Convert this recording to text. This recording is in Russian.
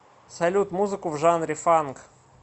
салют музыку в жанре фанк